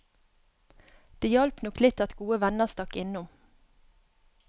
Det hjalp nok litt at gode venner stakk innom.